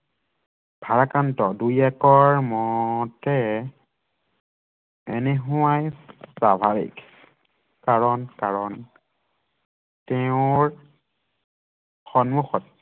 ভাৰাক্ৰান্ত দুই একৰ মতে এনেহোৱাই স্বাভাৱিক কাৰণ কাৰণ তেওঁৰ সন্মুখত